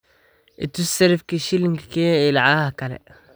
i tus sarifka shilinka kenya iyo lacagaha kale